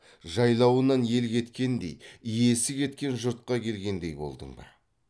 жайлауынан ел кеткендей иесі кеткен жұртқа келгендей болдың ба